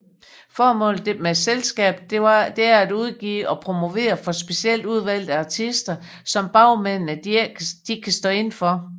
Formålet med selskabet er at udgive og promovere for specielt udvalgte artister som bagmændene kan stå inde for